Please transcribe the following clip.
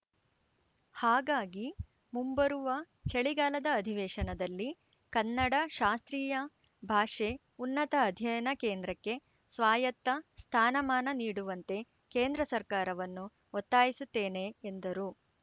ಹಾಗಾಗಿ ಮುಂಬರುವ ಚಳಿಗಾಲದ ಅಧಿವೇಶನದಲ್ಲಿ ಕನ್ನಡ ಶಾಸ್ತ್ರೀಯ ಭಾಷೆ ಉನ್ನತ ಅಧ್ಯಯನ ಕೇಂದ್ರಕ್ಕೆ ಸ್ವಾಯತ್ತ ಸ್ಥಾನಮಾನ ನೀಡುವಂತೆ ಕೇಂದ್ರ ಸರ್ಕಾರವನ್ನು ಒತ್ತಾಯಿಸುತ್ತೇನೆ ಎಂದರು